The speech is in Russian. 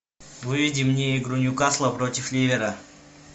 выведи мне игру ньюкасла против ливера